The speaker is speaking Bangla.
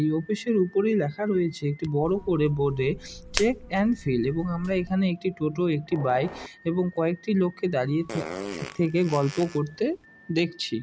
এই অফিস এর উপরেই লেখা রয়েছে একটি বড় করে বোর্ড এ চেক এন্ড ফিল এবং আমরা এখানে একটি টোটা একটি বাইক এবং কয়েকটি লোককে দাঁড়িয়ে থে - থেকে গল্প করতে দেখছি।